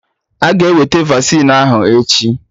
Aga eweta vaccine ahụ echi